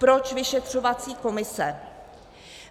Proč vyšetřovací komise?